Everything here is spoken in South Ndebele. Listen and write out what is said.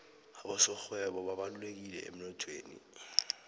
abasorhwebo babalulekileemnothweni